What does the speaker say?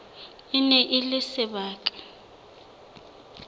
e ne e le sebaka